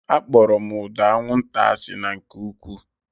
Akpọrọ m ụda anwụnta asị na nke ụkwụụ